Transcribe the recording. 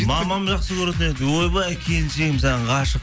мамам жақсы көретін еді ойбай келіншегім саған ғашық